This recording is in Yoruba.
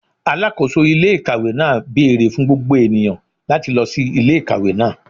Alakoso ile-ikawe naa beere fun gbogbo eniyan lati lọ si ile-ikawe naa